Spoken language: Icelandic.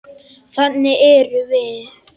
Þannig erum við.